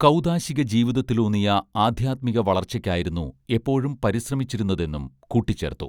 കൗദാശിക ജീവിതത്തിലൂന്നിയ ആധ്യാത്മിക വളർച്ചയ്ക്കായിരുന്നു എപ്പോഴും പരിശ്രമിച്ചിരുന്നതെന്നും കൂട്ടിച്ചേർത്തു